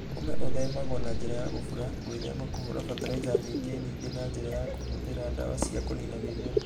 Ũme Ũthemagwo na njĩra ya kũbura, gwĩthema kũhũũra bataliza nyinge nyingĩ na njĩra ya kũhũthĩra ndawa cia kũniina mĩmera.